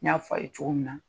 N y'a fɔ a ye cogo min na